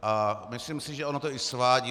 A myslím si, že ono to i svádí.